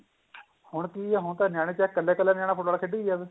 ਹੁਣ ਕੀ ਏ ਹੁਣ ਤਾਂ ਨਿਆਣਾ ਚਾਹੇ ਕੱਲਾ ਕੱਲਾ ਨਿਆਣਾ football ਖੇਡੀ ਜਾਵੇ